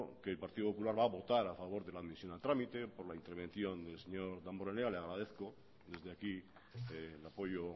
que el partido popular va a votar a favor de la admisión a trámite por la intervención del señor damborenea le agradezco desde aquí el apoyo